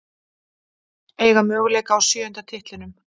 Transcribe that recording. Eiga möguleika á sjöunda titlinum